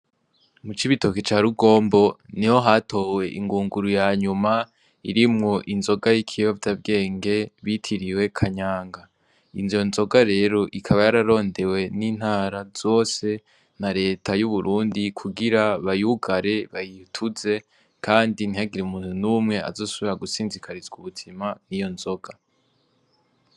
Mu Cibitoke ca rugombo niho hatowe ingunguru yanyuma irimwo inzoga y'iyovyabwenge bitiriwe kanyange, izo nzoga rero ikaba yararondewe ntara zose na reta y'u Burundi kugira bayugare bayituze, kandi ntihagire umuntu n'umwe azosubira gusinzikarizwa ubuzima niyo nzoga.